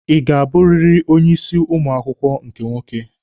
Ị ga-abụrịrị onye isi ụmụ akwụkwọ nke nwoke?